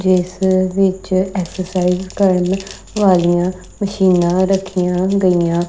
ਜਿਸ ਵਿੱਚ ਐਕਸਰਸਾਈਜ਼ ਕਰਨ ਵਾਲੀਆਂ ਮਸ਼ੀਨਾਂ ਰੱਖੀਆਂ ਗਈਆਂ--